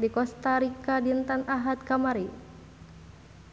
di Kosta Rika dinten Ahad kamari